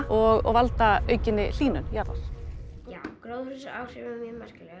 og valda aukinni hlýnun jarðar já gróðurhúsaáhrifin eru mjög merkileg